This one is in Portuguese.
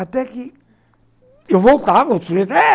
Até que eu voltava